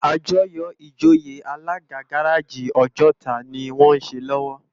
Ájòyò ijóyé Alàgá gàráji Ojota ni wòn sé lòwò